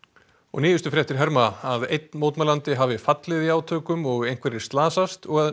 nýjustu fréttir herma að einn mótmælandi hafi fallið í átökum og einhverjir slasast og